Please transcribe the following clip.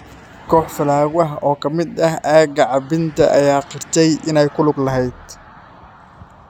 Koox fallaago ah oo ka timid aagga Cabinda ayaa qirtay inay ku lug lahaayeen.